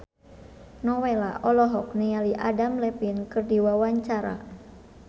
Nowela olohok ningali Adam Levine keur diwawancara